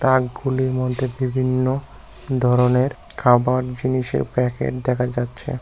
তাকগুলির মধ্যে বিভিন্ন ধরণের খাবার জিনিসের প্যাকেট দেখা যাচ্ছে।